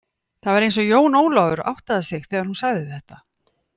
Það var eins og Jón Ólafur áttaði sig þegar hún sagði þetta.